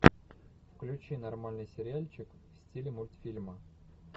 включи нормальный сериальчик в стиле мультфильма